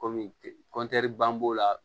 Kɔmi ban b'o la